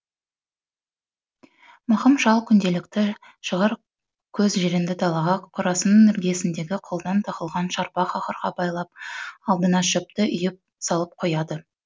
мақым шал күнделікті шағыр көз жиренді далаға қорасының іргесіндегі қолдан тоқылған шарбақ ақырға байлап алдына шөпті үйіп салып қояды